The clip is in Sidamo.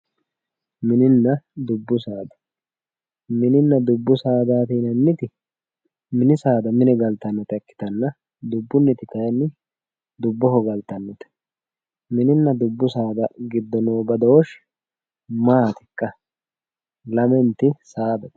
mininna dubbu saada, mininna dubbu saadaati yineemmoti mini saada mine galtannota ikkitanna dubunniti kayiinni dubboho galtannote mininna dubbu saada mereero noo badooshshi maatikka? lamenta tsaafi.